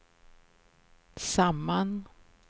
samman